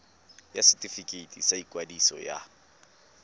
ya setefikeiti sa ikwadiso ya